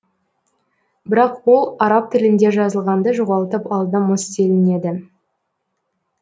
бірақ ол араб тілінде жазылғанды жоғалтып алды мыс делінеді